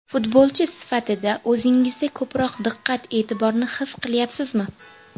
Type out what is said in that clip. Futbolchi sifatida o‘zingizda ko‘proq diqqat-e’tiborni his qilyapsizmi?